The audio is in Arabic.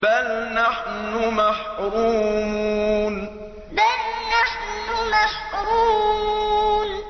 بَلْ نَحْنُ مَحْرُومُونَ بَلْ نَحْنُ مَحْرُومُونَ